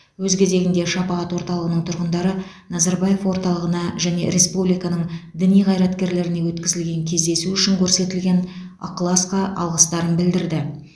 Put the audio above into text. өз кезегінде шапағат орталығының тұрғындары назарбаев орталығына және республиканың діни қайраткерлеріне өткізілген кездесу үшін көрсетілген ықыласқа алғыстарын білдірді